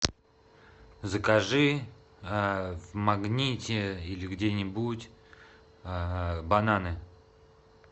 закажи в магните или где нибудь бананы